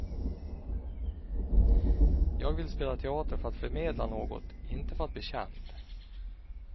Jag vill spela teater för att förmedla något, inte för att bli känd.